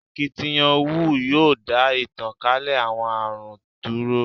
Akitiyan WHO yoo da itankale awọn arun dúró